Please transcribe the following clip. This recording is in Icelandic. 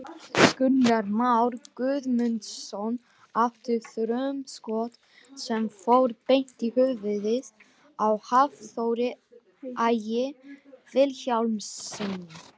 Gunnar Már Guðmundsson átti þrumuskot sem fór beint í höfuðið á Hafþóri Ægi Vilhjálmssyni.